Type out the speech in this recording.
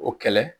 O kɛlɛ